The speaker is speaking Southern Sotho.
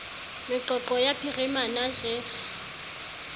meqoqo ya phirimana j g